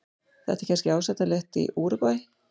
Þetta er kannski ásættanlegt í Úrúgvæ.